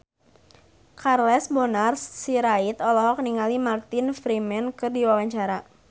Charles Bonar Sirait olohok ningali Martin Freeman keur diwawancara